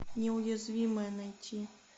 неуязвимые найти